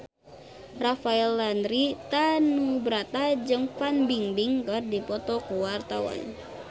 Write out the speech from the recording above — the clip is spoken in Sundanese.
Rafael Landry Tanubrata jeung Fan Bingbing keur dipoto ku wartawan